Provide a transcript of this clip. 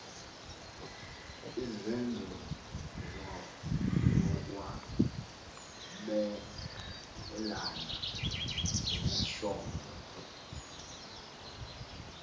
izenzo zokwabelana ngesondo